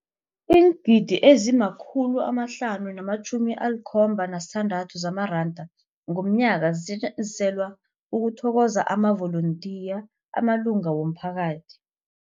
Iingidi ezima-576 zamaranda ngomnyaka zisetjenziselwa ukuthokoza amavolontiya amalunga womphakathi.